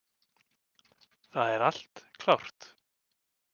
Það er allt klárt.